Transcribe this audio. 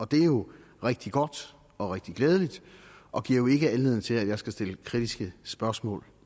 det er jo rigtig godt og rigtig glædeligt og giver jo ikke anledning til at jeg skal stille kritiske spørgsmål